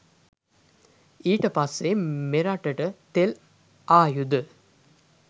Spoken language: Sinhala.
ඊට පස්සෙ මෙරටට තෙල් ආයුද